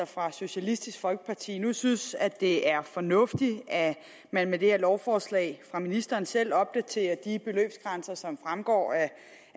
fra socialistisk folkeparti nu synes at det er fornuftigt at man med det her lovforslag fra ministeren selv opdaterer de beløbsgrænser som fremgår af